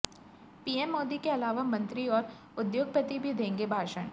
PM Modi के अलावा मंत्री और उद्योगपति भी देंगे भाषण